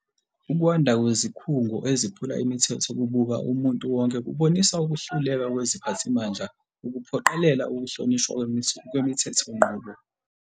Ukwanda kwezikhungo eziphula imithetho kubuka umuntu wonke kubonisa ukuhluleka kweziphathimandla ukuphoqelela ukuhlonishwa kwemithethonqubo.